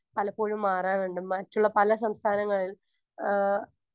speaker 1 പലപ്പോഴും മാറാറുണ്ട് മറ്റുള്ള പല സംസ്ഥാനങ്ങളിൽ ആഹ്